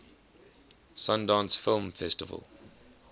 sundance film festival